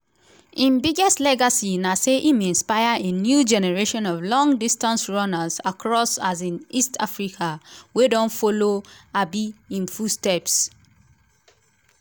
im biggest legacy na say im inspire a new generation of long-distance runners across um east africa wey don follow um im footsteps.